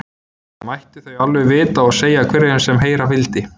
Það mættu þau alveg vita og segja hverjum sem heyra vildi.